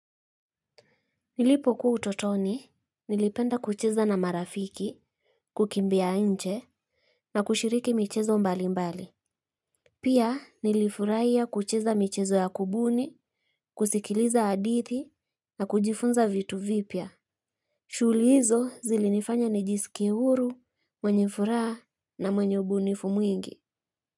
Nilipokuwa utotoni, nilipenda kucheza na marafiki, kukimbia nje, na kushiriki michezo mbali mbali. Pia nilifurahia kucheza michezo ya kubuni, kusikiliza hadithi, na kujifunza vitu vipya. Shughuli hizo zilinifanya nijisikie huru, mwenye furaha, na mwenye ubunifu mwingi.